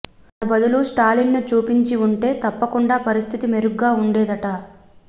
తన బదులు స్టాలిన్ను చూపించి వుంటే తప్పకుండా పరిస్థితి మెరుగ్గా వుండేదట